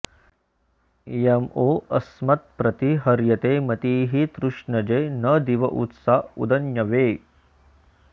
इयं वो अस्मत्प्रति हर्यते मतिस्तृष्णजे न दिव उत्सा उदन्यवे